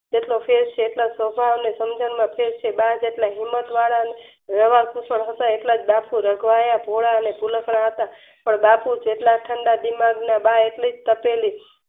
જેટલો ફેર છે એટલો જ સ્વભાવ અને સમજણમાં ફેર છે બા જેટલા ગુળવત વાળા હોવાથી રઘવાયા ભોળા અને ભુલકણા હતા પણ બા થી જેટલા ઠંડા દિમાગ ના બા એટલી જ તપેલી